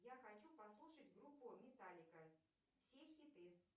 я хочу послушать группу металлика все хиты